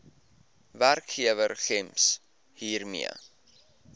werkgewer gems hiermee